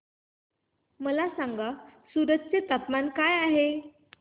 मला सांगा सूरत चे तापमान काय आहे